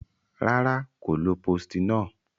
Rara, ko lo postinor.